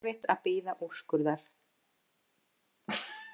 Erfitt að bíða úrskurðar